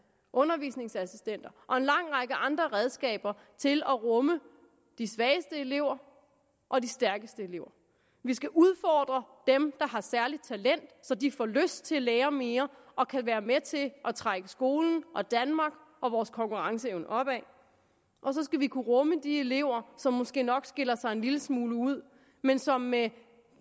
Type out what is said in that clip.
undervisningsassistenter og en lang række andre redskaber til at rumme de svageste elever og de stærkeste elever vi skal udfordre dem der har særligt talent så de får lyst til at lære mere og kan være med til at trække skolen og danmark og vores konkurrenceevne opad og så skal vi kunne rumme de elever som måske nok skiller sig en lille smule ud men som med